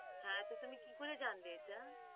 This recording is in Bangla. হ্যাঁ তো তুমি কি করে জানবে এটা